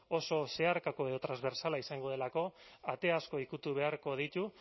oso zeharkako edo transbertsala izango delako ate asko ukitu beharko ditu